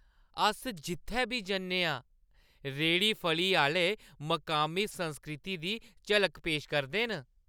अस जित्थै बी जन्ने आं रेह्ड़ी-फढ़ी आह्‌ले मकामी संस्कृति दी झलक पेश करदे न।